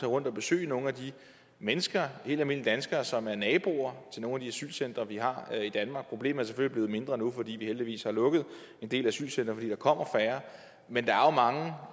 rundt og besøge nogle af de mennesker helt almindelige danskere som er naboer til nogle af de asylcentre vi har i danmark problemet er selvfølgelig blevet mindre nu fordi vi heldigvis har lukket en del asylcentre fordi der kommer færre men